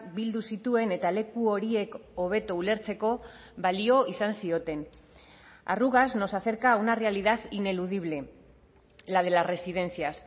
bildu zituen eta leku horiek hobeto ulertzeko balio izan zioten arrugas nos acerca a una realidad ineludible la de las residencias